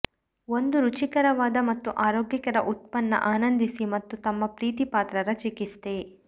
ಒಂದು ರುಚಿಕರವಾದ ಮತ್ತು ಆರೋಗ್ಯಕರ ಉತ್ಪನ್ನ ಆನಂದಿಸಿ ಮತ್ತು ತಮ್ಮ ಪ್ರೀತಿಪಾತ್ರರ ಚಿಕಿತ್ಸೆ